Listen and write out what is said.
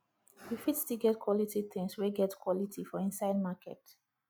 you fit still get quality tins wey get quality for inside market